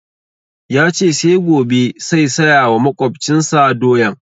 Ya ce sai gobe sai saya wa maƙwabcin sa doyan